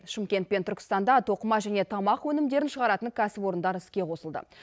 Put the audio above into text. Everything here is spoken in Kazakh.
шымкент пен түркістанда тоқыма және тамақ өнімдерін шығаратын кәсіпорындар іске қосылды